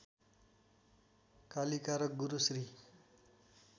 कालिका र गुरु श्री